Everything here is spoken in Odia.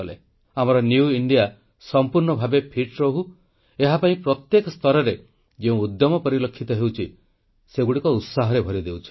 ଆମର ନ୍ୟୁ ଇଣ୍ଡିଆ ସମ୍ପୂର୍ଣ୍ଣ ଭାବେ ଫିଟ୍ ରହୁ ଏହା ପାଇଁ ପ୍ରତ୍ୟେକ ସ୍ତରରେ ଯେଉଁ ଉଦ୍ୟମ ପରିଲକ୍ଷିତ ହେଉଛି ସେଗୁଡ଼ିକ ଉତ୍ସାହରେ ଭରିଦେଉଛି